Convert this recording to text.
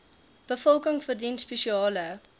bevolking verdien spesiale